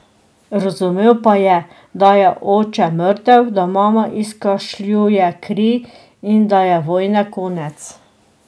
Razumel pa je, da je oče mrtev, da mama izkašljuje kri in da je vojne konec.